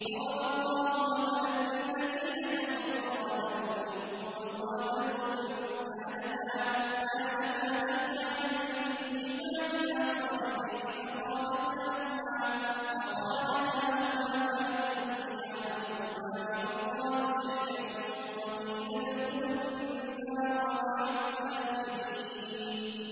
ضَرَبَ اللَّهُ مَثَلًا لِّلَّذِينَ كَفَرُوا امْرَأَتَ نُوحٍ وَامْرَأَتَ لُوطٍ ۖ كَانَتَا تَحْتَ عَبْدَيْنِ مِنْ عِبَادِنَا صَالِحَيْنِ فَخَانَتَاهُمَا فَلَمْ يُغْنِيَا عَنْهُمَا مِنَ اللَّهِ شَيْئًا وَقِيلَ ادْخُلَا النَّارَ مَعَ الدَّاخِلِينَ